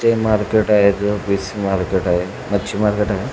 ते मार्केट आहे fish market आहे मच्छी मार्केट आहे.